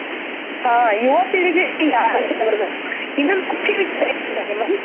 ಆ ಯುವ ಪೀಳಿಗೆ ಯಲ್ಲಿ ಈ ಆಲೋಚನೆ ಬರಬೇಕು ಇನ್ನೊಂದ್ ಖುಷಿ ವಿಚಾರ ಏನು ಗೊತ್ತ ಹೇಮಂತ್.